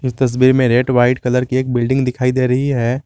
इस तस्वीर में रेड व्हाइट कलर की एक बिल्डिंग दिखाई दे रही है।